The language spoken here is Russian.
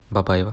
бабаево